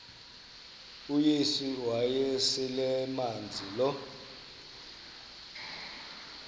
uyesu wayeselemazi lo